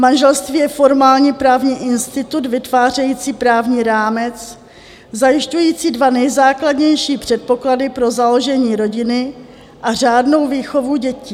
Manželství je formálně právní institut vytvářející právní rámec zajišťující dva nejzákladnější předpoklady pro založení rodiny a řádnou výchovu dětí.